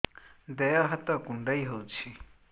ଦେହ ହାତ କୁଣ୍ଡାଇ ହଉଛି